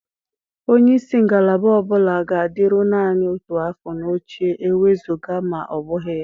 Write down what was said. Onye isi ngalaba ọ bụla ga-adịru naanị otu afọ n'oche, ewezuga ma ọ bụghị ya.